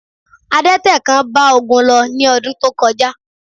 Adẹ́tẹ̀ kan bá Ogun lọ ní ọdún tó kọjá